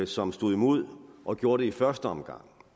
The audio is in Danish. som stod imod og gjorde det i første omgang